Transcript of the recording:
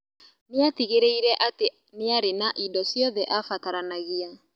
Nĩatigĩrĩire atĩ niarĩ na indo ciothe abataranagia